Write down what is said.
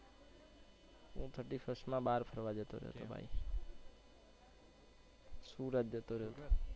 હું thirty first માં બહાર ફરવા જતો રહ્યો તો સુરત જતો રહ્યો તો